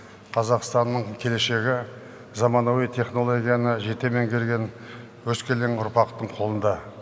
қазақстанның келешегі заманауи технологияны жете меңгерген өскелең ұрпақтың қолында